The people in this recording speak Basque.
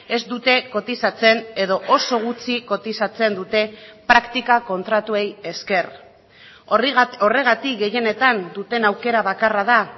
ez dute kotizatzen edo oso gutxi kotizatzen dute praktika kontratuei esker horregatik gehienetan duten aukera bakarra da